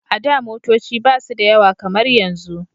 A da motoci ba su da yawa kamar yanzu